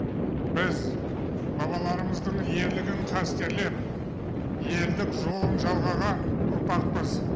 біз бабаларымыздың ерлігін қастерлеп елдік жолын жалғаған ұрпақпыз